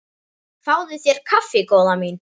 Fáðu þér kaffi góða mín.